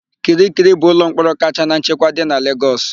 Kirikiri bụ ụlọmkpọrọ kacha na nchekwa dị na Legọs.